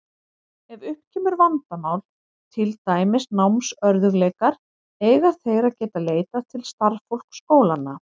Ef upp kemur vandamál, til dæmis námsörðugleikar, eiga þeir að geta leitað til starfsfólks skólanna.